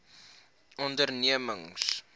ondernemings